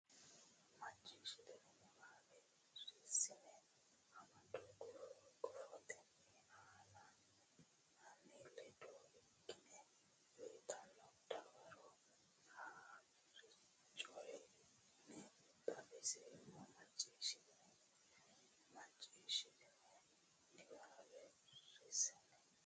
macciishshitini niwaawe Rsn amado gufo gufotenni ane ledo ikkine uytanno dawaro haa ri coyi ne xawinseemmo macciishshitini macciishshitini niwaawe Rsn.